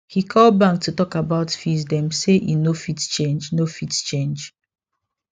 he call bank to talk about fees dem say e no fit change no fit change